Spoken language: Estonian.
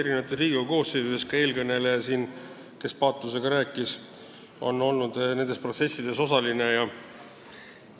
Riigikogu koosseisud on olnud erinevad ja ka eelkõneleja, kes siin äsja paatosega rääkis, on nendes protsessides osaline olnud.